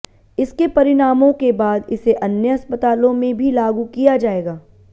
इसके परिणामों के बाद इसे अन्य अस्पतालों में भी लागू किया जाएगा